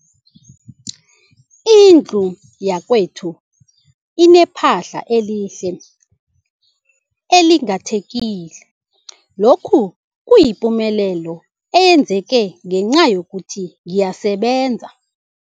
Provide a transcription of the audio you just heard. Indlu yakwethu inephahla elihle, elinganetheliko, lokhu kuyipumelelo eyenzeke ngenca yokuthi ngiyasebenza.